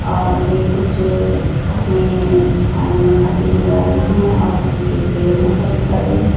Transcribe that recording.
और भी कुछ अपने खाने में खाती नजर आई है और पीछे पेड़ है काफी सारे--